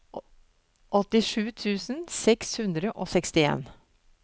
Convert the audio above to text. åttisju tusen seks hundre og sekstien